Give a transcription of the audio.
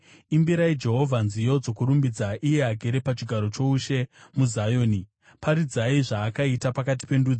Imbirai Jehovha nziyo dzokurumbidza, iye agere pachigaro choushe muZioni; paridzai zvaakaita pakati pendudzi.